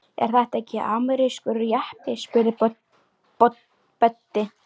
Er þetta ekki amerískur jeppi? spurði Böddi.